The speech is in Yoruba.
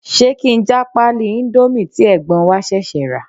Ṣé kí n já pálí indomie tí ẹ̀gbọ́n wa ṣẹ̀ṣẹ̀ rà?